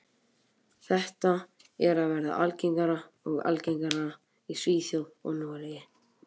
Þetta er að verða algengara og algengara í Svíþjóð og Noregi.